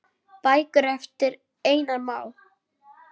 Bækur eftir Einar Má.